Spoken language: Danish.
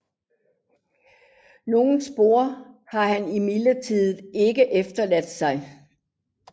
Noget spor har han imidlertid ikke efterladt sig